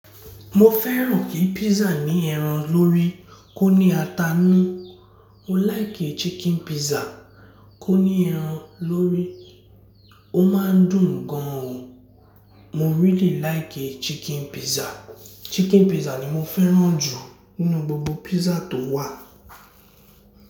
Mo fẹ́ràn kí pizza ní ẹran lórí kó ní ata nù. Mo like chicken pizza kó ní ẹran lórí. Ó máa ń dùn gan o. Mo really like chicken pizza. Chicken pizza ni mo fẹ́ràn jù nínú gbogbo pizza tó wà.